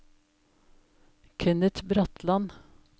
Kenneth Bratland